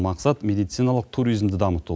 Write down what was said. мақсат медициналық туризмді дамыту